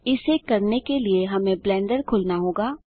इसे करने के लिए हमें ब्लेंडर खोलना होगा